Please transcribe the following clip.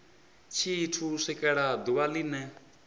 tshithu u swikela ḓuvha line